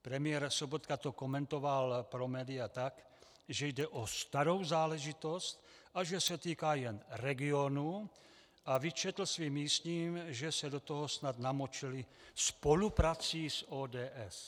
Premiér Sobotka to komentoval pro média tak, že jde o starou záležitost a že se týká jen regionů, a vyčetl svým místním, že se do toho snad namočili spoluprací s ODS.